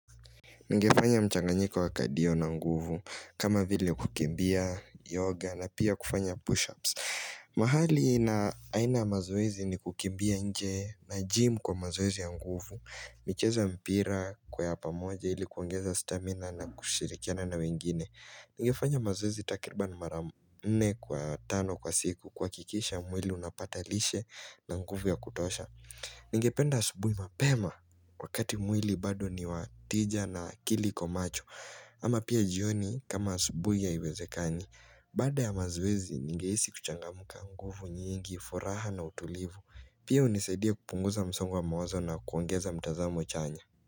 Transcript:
Ningefanya mchanganyika wakadio na nguvu kama vile kukimbia yoga na pia kufanya push-ups mahali na aina ya mazoezi ni kukimbia nje na gym kwa mazoezi ya nguvu michezo ya mpira kwa ya pamoja ilikuongeza stamina na kushirikiana na wengine Ningefanya mazoezi takriba mara nne kwa tano kwa siku kuhakikisha mwili unapata lishe na nguvu ya kutosha Ningependa asubuhi mapema wakati mwili bado ni watija na akili iko macho ama pia jioni kama asubuhi haiwezekani Baada ya mazoezi ningehisi kuchangamka nguvu nyingi, furaha na utulivu Pia hunisaidia kupunguza msongo wa mawazo na kuongeza mtazamo chanya.